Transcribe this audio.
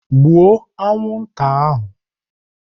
Gbuo anwụnta ahụ!